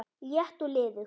létt og liðug